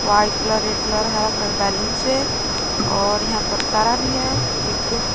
white colour red colour हरा colour balloon से और यहां पर तारा भी है एक--